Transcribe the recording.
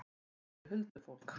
Hann sér huldufólk.